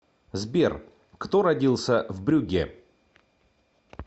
сбер кто родился в брюгге